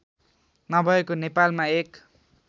नभएको नेपालमा एक